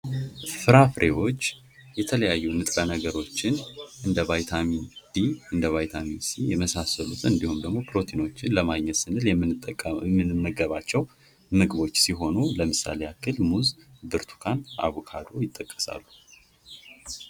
ፍራፍሬዎች የተለያዩ ንጥረነገሮችን እንደ ቫይታሚን ዲ እንደ ቫይታሚን ሲ የመሳሰሉትን እንድሁም ደግሞ ፕሮቲኖችን ለማግኘት ስንል የምንጠቀመው የምንመገባቸው ምግቦች ሲሆኑ ለምሳሌ ያህል ሙዝ ብርቱካን አቮካዶ ይጠቀሳሉ።